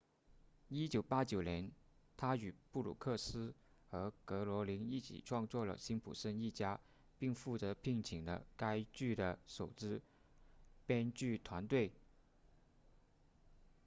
1989年他与布鲁克斯和格罗宁一起创作了辛普森一家并负责聘请了该剧的首支编剧团队